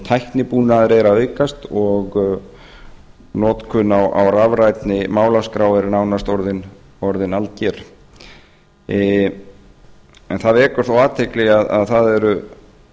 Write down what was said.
tæknibúnaður er að aukast og notkun á rafrænni málaskrá er nánast orðin alger það vekur þó athygli að það eru